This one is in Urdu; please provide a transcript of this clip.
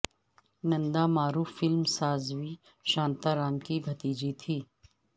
نندا معروف فلم ساز وی شانتا رام کی بھتیجی تھیں